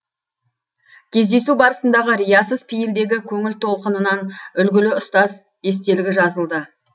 кездесу барысындағы риясыз пейілдегі көңіл толқынынан үлгілі ұстаз естелігі жазылды